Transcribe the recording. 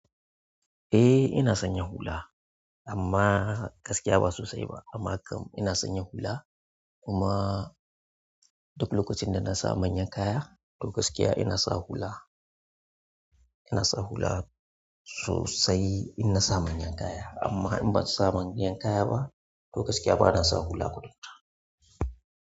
Eh ina sanya hula amma gaskiya ba sosai ba amma kam ina sanya hula kuma duk lokacin da na sa manyan kaya to gaskiya ina sa hula. Ina sa hula sosai in na sa manyan kaya amma in ban sa manyan kaya ba to gaskiya ba na sa hula kwata kwata.